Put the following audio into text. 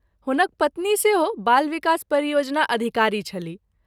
हुनक पत्नी सेहो बाल विकास परियोजना अधिकारी छलीह।